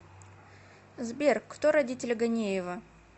сбер кто родители ганеева